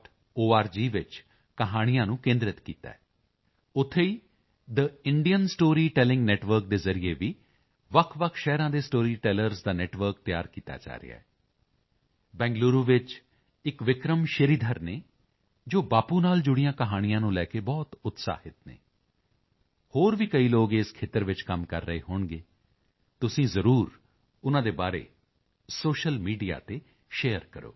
org ਵਿੱਚ ਕਹਾਣੀਆਂ ਨੂੰ ਕੇਂਦ੍ਰਿਤ ਕੀਤਾ ਹੈ ਉੱਥੇ ਹੀ ਥੇ ਇੰਡੀਅਨ ਸਟੋਰੀ ਟੈਲਿੰਗ ਨੈੱਟਵਰਕ ਦੇ ਜ਼ਰੀਏ ਵੀ ਵੱਖਵੱਖ ਸ਼ਹਿਰਾਂ ਦੇ ਸਟੋਰੀ ਟੈਲਰਜ਼ ਦਾ ਨੈੱਟਵਰਕ ਤਿਆਰ ਕੀਤਾ ਜਾ ਰਿਹਾ ਹੈ ਬੰਗਲੁਰੂ ਵਿੱਚ ਇੱਕ ਵਿਕਰਮ ਸ਼੍ਰੀਧਰ ਹਨ ਜੋ ਬਾਪੂ ਨਾਲ ਜੁੜੀਆਂ ਕਹਾਣੀਆਂ ਨੂੰ ਲੈ ਕੇ ਬਹੁਤ ਉਤਸ਼ਾਹਿਤ ਹਨ ਹੋਰ ਵੀ ਕਈ ਲੋਕ ਇਸ ਖੇਤਰ ਵਿੱਚ ਕੰਮ ਕਰ ਰਹੇ ਹੋਣਗੇ ਤੁਸੀਂ ਜ਼ਰੂਰ ਉਨ੍ਹਾਂ ਦੇ ਬਾਰੇ ਸੋਸ਼ਲ ਮੀਡੀਆ ਤੇ ਸ਼ੇਅਰ ਕਰੋ